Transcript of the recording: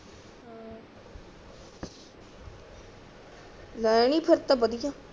ਨਹੀਂ ਫੇਰ ਤਾ ਬਦਿਆ